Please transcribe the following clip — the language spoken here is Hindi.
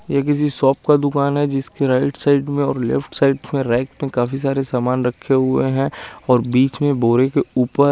ये किसी शॉप का दुकान है जिसके राइट साइड में और लेफ्ट साइड में रैक में काफी सारे सामान रखे हुए हैं और बीच में बोरे के ऊपर--